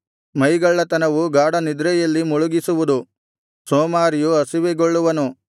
ಮೈಗಳ್ಳತನವು ಗಾಢನಿದ್ರೆಯಲ್ಲಿ ಮುಳುಗಿಸುವುದು ಸೋಮಾರಿಯು ಹಸಿವೆಗೊಳ್ಳುವನು